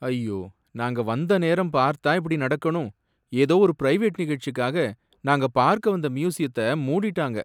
ஐயோ! நாங்க வந்த நேரம் பார்த்தா இப்படி நடக்கணும், ஏதோ ஒரு பிரைவேட் நிகழ்ச்சிக்காக நாங்க பார்க்க வந்த மியூசியத்த மூடிட்டாங்க